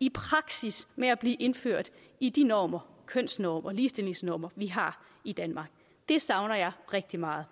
i praksis med at blive indført i de normer kønsnormer ligestillingsnormer vi har i danmark det savner jeg rigtig meget